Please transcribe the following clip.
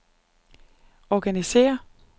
organisér